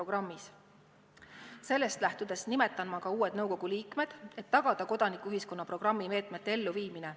Ja sellest lähtudes nimetan ma ka uued nõukogu liikmed, et tagada kodanikuühiskonna programmi meetmete elluviimine.